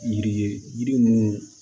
Yiri ye yiri munnu